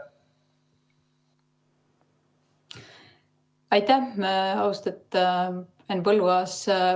Aitäh, austatud Henn Põlluaas!